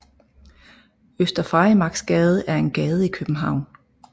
Øster Farimagsgade er en gade i København